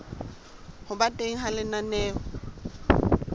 ho ba teng ha lenaneo